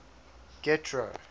getro